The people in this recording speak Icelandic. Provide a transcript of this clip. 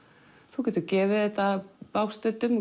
þú getur gefið þetta bágstöddum